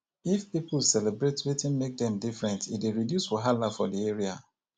if pipo celebrate wetin make dem different e dey reduce wahala for di area